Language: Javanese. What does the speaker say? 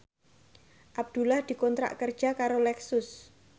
Abdullah dikontrak kerja karo Lexus